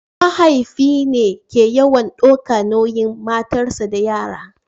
mahaifi ne ke yawan daukar nauyin matarsa da yara